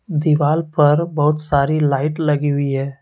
दीवाल पर बहुत सारी लाइट लगी हुई है।